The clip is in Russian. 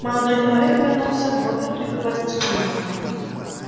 молодой человек повернулся к богерту и проглотил слюну